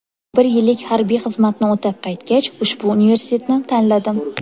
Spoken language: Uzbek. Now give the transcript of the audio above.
Bir yillik harbiy xizmatni o‘tab qaytgach, ushbu universitetni tanladim.